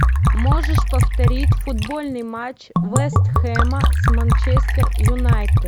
можешь повторить футбольный матч вест хэма с манчестер юнайтед